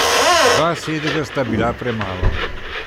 Dva sedeža sta bila premalo.